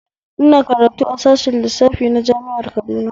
Ina karatu a sashen lissafi na jami'ar Kaduna